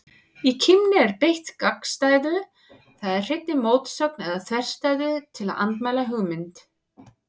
Í kímni er beitt gagnstæðu, það er hreinni mótsögn eða þverstæðu, til að andmæla hugmynd.